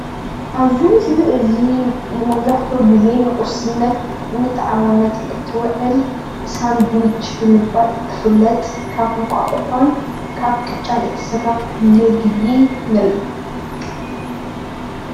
ኣብዚ ምስሊ እዚ መብዛሕትኡ ግዜ ንቁርስነት ንጣዓሞነት እትውዕል ሳንዱሽ ብምባል እትፍለጥ ካብ እንቋቁሖን ካብ ቅጫን እትስራሕ ምግቢ ንርኢ፡፡